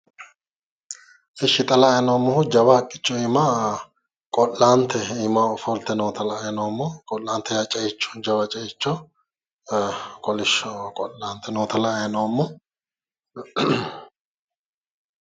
Eshshi xa la'ayi noommohu jawa haqqicho iima qo'laante ofolte noota la'ayi noommo qo'laante yaa ceicho jawa ceicho kolishsho qo'laante noota la"ayi noommo.